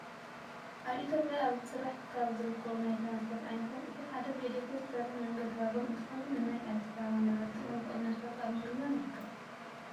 ኣብ ኢትዮጵያ ኣብ ስራሕ ካብ ዝርከቡ ናይ ትራንስፖርት ዓይነታት እቲ ሓደ ብኤሌትሪክ ዝሰርሕ መንገዲ ባቡር እንትኸውን ንናይ ኣዲስ ኣበባ ነበርቲ እውን ብቅናሽ ዋጋ ኣብ ምግልጋል ይርከብ።